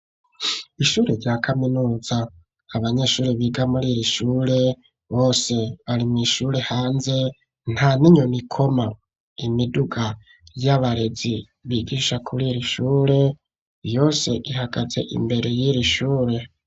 Ishure rya kaminuza. Abanyeshuri biga muri iri shure bose bari mw'ishure, hanze nta n'inyoni ikoma. Imiduga y'abarezi bigisha kuri iri shure, yose ihagaze imbere y'iri shure.